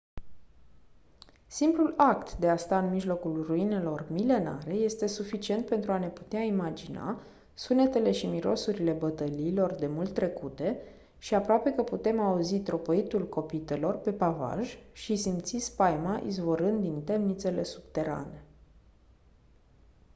simplul act de a sta în mijlocul ruinelor milenare este suficient pentru a ne putea imagina sunetele și mirosurile bătăliilor demult trecute și aproape că putem auzi tropăitul copitelor pe pavaj și simți spaima izvorând din temnițele subterane